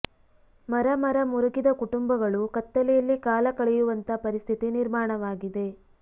ಮರ ಮರ ಮುರುಗಿದ ಕುಟುಂಬಗಳು ಕತ್ತಲೆಯಲ್ಲಿ ಕಾಲ ಕಳೆಯುವಂತ ಪರಿಸ್ಥಿತಿ ನಿರ್ಮಾಣವಾಗಿದೆ